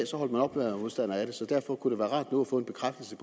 holdt man op med at være modstander af det så derfor kunne det være rart nu at få en bekræftelse